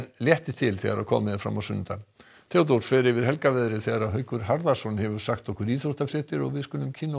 létti til þegar komið er fram á sunnudag Theodór fer yfir þegar Haukur Harðarson hefur sagt okkur íþróttafréttir við skulum kynnast